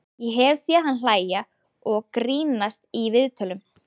Ég hef séð hann hlæja og grínast í viðtölum.